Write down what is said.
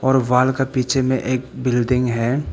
और वॉल का पीछे में एक बिल्डिंग है।